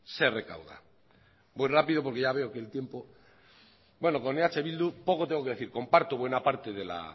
se recauda voy rápido porque ya veo que el tiempo bueno con eh bildu poco tengo que decir comparto buena parte de la